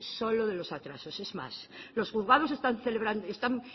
solo de los atrasos es más los juzgados están